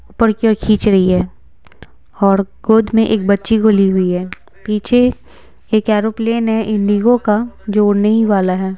ऊपर की ओर खींच रही है और गोद में एक बच्ची को ली हुई है पीछे एक एरोप्लेन है इंडिगो का जो उड़ने ही वाला है।